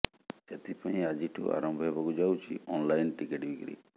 ସେଥିପାଇଁ ଆଜିଠୁ ଆରମ୍ଭ ହେବାକୁ ଯାଉଛି ଅନଲାଇନ ଟିକେଟ ବିକ୍ରି